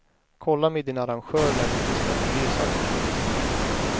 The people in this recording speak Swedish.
Kolla med din arrangör när du beställer resan.